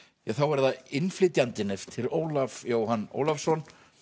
þá er það innflytjandinn eftir Ólaf Jóhann Ólafsson